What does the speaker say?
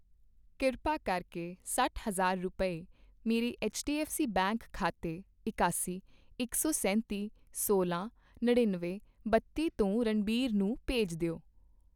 ਕਿਰਪਾ ਕਰਕੇ ਸੱਠ ਹਜ਼ਾਰ ਰੁਪਏ, ਮੇਰੇ ਐੱਚਡੀਐੱਫ਼ਸੀ ਬੈਂਕ ਖਾਤੇ ਇਕਾਸੀ, ਇਕ ਸੌ ਸੈਂਤੀ, ਸੋਲ੍ਹਾਂ, ਨੜ੍ਹਿੱਨਵੇਂ, ਬੱਤੀ ਤੋਂ ਰਣਬੀਰ ਨੂੰ ਭੇਜ ਦਿਓ